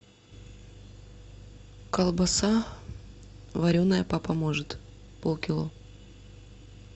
колбаса вареная папа может пол кило